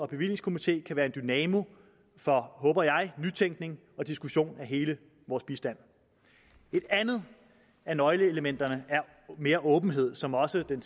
bevillingskomité kan være en dynamo for håber jeg nytænkning og diskussion af hele vores bistand et andet af nøgleelementerne er mere åbenhed som også den